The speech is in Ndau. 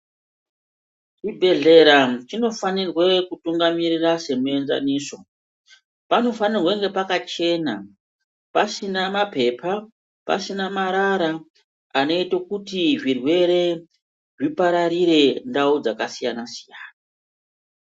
Chibhedhlera chinofanirwe kutungamirira semuenzaniso. Panofanirwe kunge pakachena, pasina mapepa, pasina marara anoito kuti zvirwere zvipararire ndau dzakasiyana-siyana.